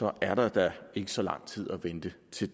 er der da ikke så lang tid at vente til